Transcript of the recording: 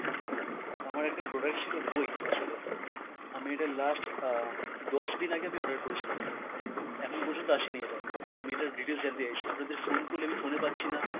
আমার একটা product ছিল বই আসলে, আমি এটা last আহ দশ দিন আগে আমি order করেছিলাম, এখনও পর্যন্ত আসে নি এটা, আমি এটার details জানতে চাইছি। আপনাদের phone করলে আমি phone এ পাচ্ছি না।